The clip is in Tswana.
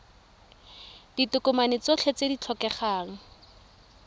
ditokomane tsotlhe tse di tlhokegang